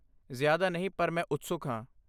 ਜ਼ਿਆਦਾ ਨਹੀਂ ਪਰ ਮੈਂ ਉਤਸੁਕ ਹਾਂ।